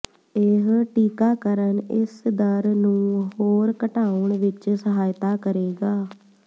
ਇਹ ਟੀਕਾਕਰਨ ਇਸ ਦਰ ਨੂੰ ਹੋਰ ਘਟਾਉਣ ਵਿਚ ਸਹਾਇਤਾ ਕਰੇਗਾ